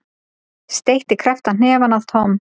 Steytti krepptan hnefa að Tom.